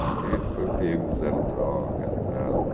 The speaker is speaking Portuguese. Porque foi pego usando droga tal.